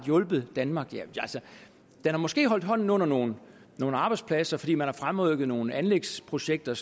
hjulpet danmark den har måske holdt hånden under nogle arbejdspladser fordi man har fremrykket nogle anlægsprojekter